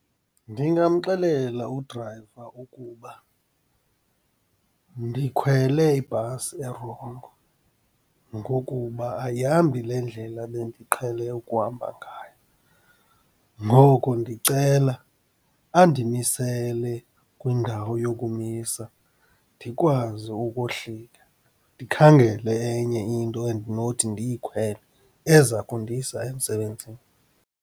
Ndingamxelela udrayiva ukuba ndikhwele ibhasi erongo ngokuba ayihambi le ndlela bendiqhele ukuhamba ngayo, ngoko ndicela andimisele kwindawo yokumisa, ndikwazi ukohlika ndikhangele enye into endinothi ndiyikhwele, eza kundisa emsebenzini.